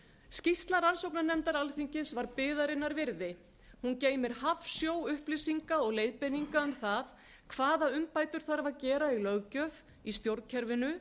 skýrsla rannsóknarnefndar alþingis var biðarinnar virði hún geymir hafsjó upplýsinga og leiðbeininga um það hvaða umbætur þarf að gera í löggjöf í stjórnkerfinu